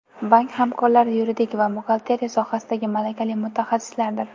Bank hamkorlari yuridik va buxgalteriya sohasidagi malakali mutaxassislardir.